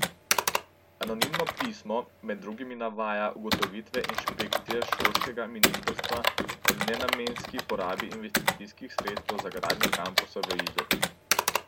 Anonimno pismo med drugim navaja ugotovitve inšpekcije šolskega ministrstva o nenamenski porabi investicijskih sredstev za gradnjo kampusa v Izoli.